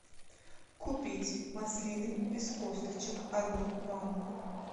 купить маслины без косточек одну банку